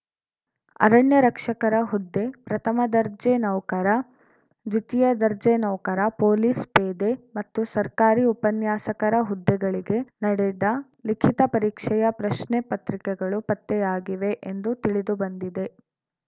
ಅರಣ್ಯ ರಕ್ಷಕರ ಹುದ್ದೆ ಪ್ರಥಮ ದರ್ಜೆ ನೌಕರ ದ್ವಿತೀಯ ದರ್ಜೆ ನೌಕರ ಪೊಲೀಸ್‌ ಪೇದೆ ಮತ್ತು ಸರ್ಕಾರಿ ಉಪನ್ಯಾಸಕರ ಹುದ್ದೆಗಳಿಗೆ ನಡೆದ ಲಿಖಿತ ಪರೀಕ್ಷೆಯ ಪ್ರಶ್ನೆ ಪತ್ರಿಕೆಗಳು ಪತ್ತೆಯಾಗಿವೆ ಎಂದು ತಿಳಿದು ಬಂದಿದೆ